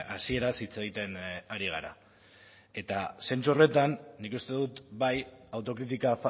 hasieraz hitz egiten ari gara eta zentzu horretan nik uste dut bai autokritika